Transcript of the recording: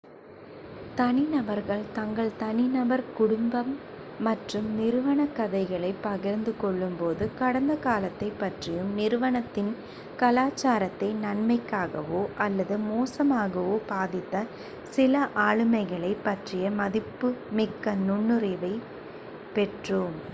தனிநபர்கள் தங்கள் தனிநபர் குடும்பம் மற்றும் நிறுவனக் கதைகளைப் பகிர்ந்து கொள்ளும்போது கடந்த காலத்தைப் பற்றியும் நிறுவனத்தின் கலாச்சாரத்தை நன்மைக்காகவோ அல்லது மோசமாகவோ பாதித்த சில ஆளுமைகளைப் பற்றிய மதிப்புமிக்க நுண்ணறிவைப் பெற்றோம்